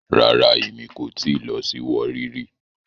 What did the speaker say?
Rara, Emi ko ti lọ si Warri ri